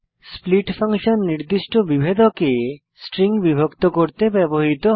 split function নির্দিষ্ট বিভেদকে string বিভক্ত করতে ব্যবহৃত হয়